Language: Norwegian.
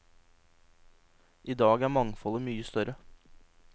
I dag er mangfoldet mye større.